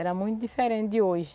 Era muito diferente de hoje.